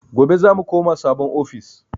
Gobe zamu koma sabon ofis